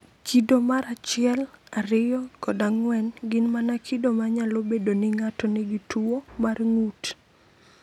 Kido mar 1, 2, kod 4 gin mana kido ma nyalo bedo ni ng’ato nigi tuwo mar ng’ut.